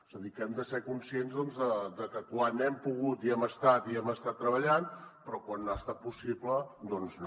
és a dir que hem de ser conscients de que quan hem pogut hi hem estat i hem estat treballant però quan no ha estat possible doncs no